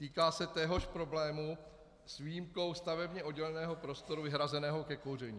Týká se téhož problému s výjimkou stavebně odděleného prostoru vyhrazeného ke kouření.